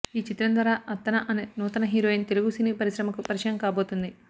ఈ చిత్రం ద్వారా అర్తన అనే నూతన హీరోయిన్ తెలుగు సినీ పరిశ్రమకు పరిచయం కాబోతుంది